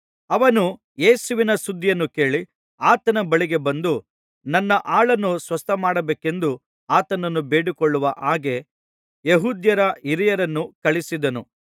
ಅವನು ಯೇಸುವಿನ ಸುದ್ದಿಯನ್ನು ಕೇಳಿ ಆತನ ಬಳಿಗೆ ಬಂದು ನನ್ನ ಆಳನ್ನು ಸ್ವಸ್ಥಮಾಡಬೇಕೆಂದು ಆತನನ್ನು ಬೇಡಿಕೊಳ್ಳುವ ಹಾಗೆ ಯೆಹೂದ್ಯರ ಹಿರಿಯರನ್ನು ಕಳುಹಿಸಿದನು